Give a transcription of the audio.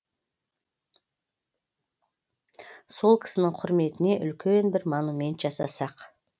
сол кісінің құрметіне үлкен бір монумент жасасақ